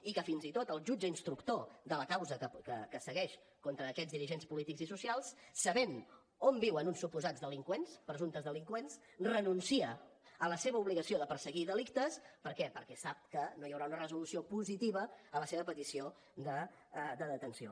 i que fins tot el jutge instructor de la causa que segueix contra aquests dirigents polítics i socials sabent on viuen uns suposats delinqüents presumptes delinqüents renuncia a la seva obligació de perseguir delictes per què perquè sap que no hi haurà una resolució positiva a la seva petició de detenció